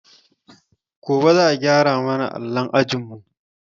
Gobe za a gyara ma na allon ajinmu.